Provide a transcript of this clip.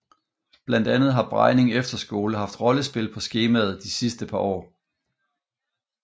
Blandt andet har Brejning Efterskole haft rollespil på skemaet de sidste par år